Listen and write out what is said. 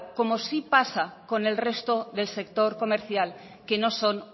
como sí pasa con el resto del sector comercial que no son